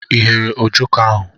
Ị ghere Ojoko ahụ?